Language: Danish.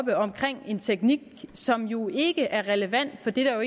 en teknik som jo ikke er relevant for det der jo